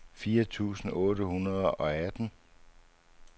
fire tusind otte hundrede og atten